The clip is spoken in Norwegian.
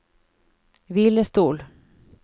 hvilestol